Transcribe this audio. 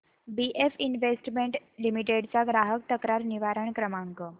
BF investment limited चा ग्राहक तक्रार निवारण क्रमांक